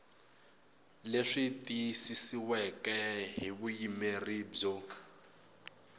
leswi tiyisisiweke hi vuyimeri byo